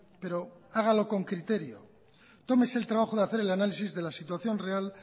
pero hágalo con criterio tómese el trabajo de hacer el análisis de la situación real